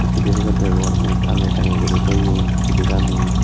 pide packet degongor mui tange tange guri toyon pidegani.